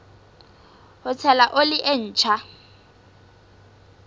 ho tshela oli e ntjha